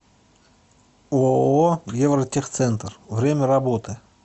ооо евротехцентр время работы